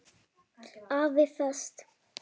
AFI Fest